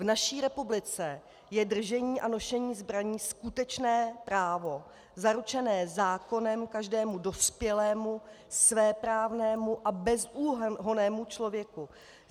V naší republice je držení a nošení zbraní skutečné právo zaručené zákonem každému dospělému svéprávnému a bezúhonnému člověku.